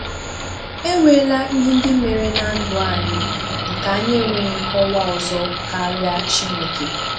E nweela ihe ndị mere na ndụ anyị nke anyị enweghị nkọwa ọzọ karịa Chineke.